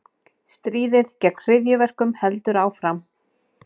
Stríðið gegn hryðjuverkum heldur áfram